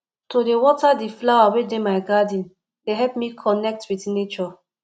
to dey water di flower wey dey my garden dey help me connect wit nature